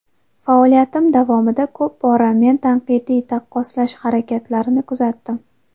Faoliyatim davomida ko‘p bora meni tanqidiy taqqoslash harakatlarini kuzatdim.